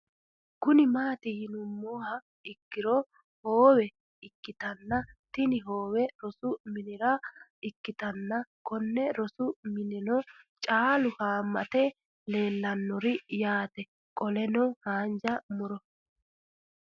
Kuni mati yinumoha ikiro hoowe ikitana tini hooweno rosu minira ikitana Koni rosi mineno caalu haamate leelanori yaate qoleno hanja muro